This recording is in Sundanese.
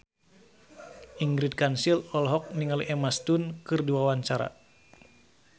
Ingrid Kansil olohok ningali Emma Stone keur diwawancara